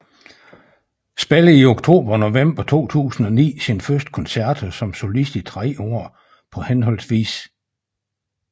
Spiller i oktober og november 2009 sine første koncerter som solist i tre år på hhv